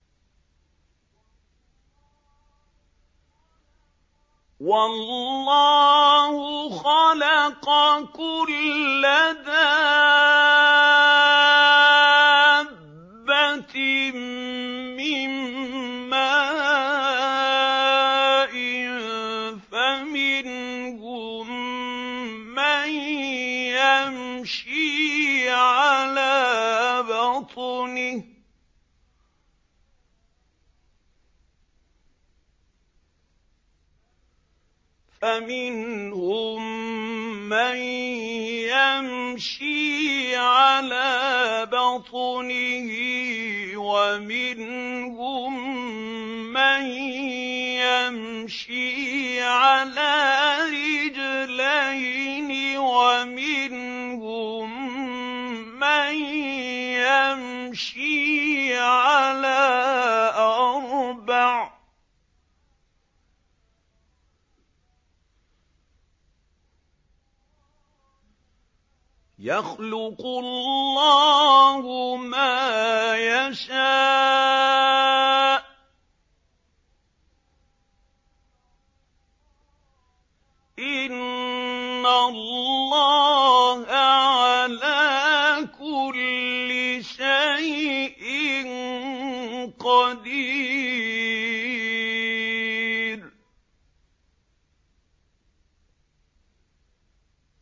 وَاللَّهُ خَلَقَ كُلَّ دَابَّةٍ مِّن مَّاءٍ ۖ فَمِنْهُم مَّن يَمْشِي عَلَىٰ بَطْنِهِ وَمِنْهُم مَّن يَمْشِي عَلَىٰ رِجْلَيْنِ وَمِنْهُم مَّن يَمْشِي عَلَىٰ أَرْبَعٍ ۚ يَخْلُقُ اللَّهُ مَا يَشَاءُ ۚ إِنَّ اللَّهَ عَلَىٰ كُلِّ شَيْءٍ قَدِيرٌ